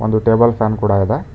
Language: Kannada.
ಒಂದು ಟೇಬಲ್ ಫ್ಯಾನ್ ಕೂಡ ಇದೆ.